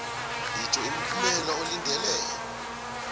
itjho imiphumela olindele